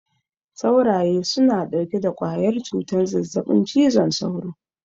Sauraye suna ɗauke da ƙwayar cutar zazzaɓin cizon sauro.